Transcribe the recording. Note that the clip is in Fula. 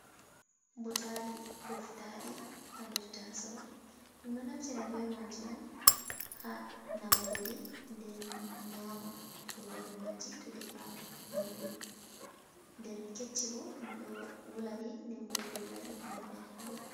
Buutali koftaɗi ha nder tasao, ɗum ɗo naftira be maji on ha namugoɗi, nden nyama kurore maji to defama nyiri nden kecci bo ɗum ɗo wulaɗi nden bo dollaɗi ngam nyakugo.